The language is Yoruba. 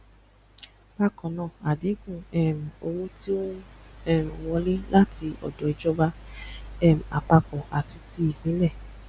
bákannáà ádínkù um owó tí ọ n um wọlé láti ọdọ ìjọba um àpapọ àti tí ìpínlẹ